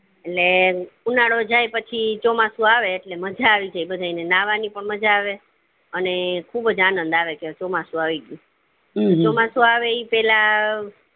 એટલે ઉનાળો જાય પછી ચોમાસું આવે એટલે મજા આવી જાય બધેય ને નાહવા ની પણ મજા આવે બધેય ને અને ખુબજ આનંદ આવે કે ચોમસું આયી ગયું ચોમાસું આવે ઈ પેલા